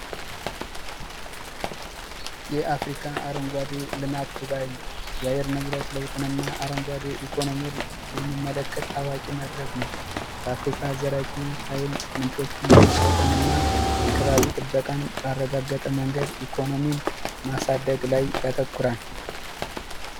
የአፍሪካ አረንጓዴ ልማት ጉባኤ የአየር ንብረት ለውጥንና አረንጓዴ ኢኮኖሚን የሚመለከት ታዋቂ መድረክ ነው በአፍሪካ ምንጮች በመጠቀም እና የከባቢ ጥበቃን ባረጋገጠ መንገድ ኢኮኖሚን ማሳደግ ላይ ያተኮራል።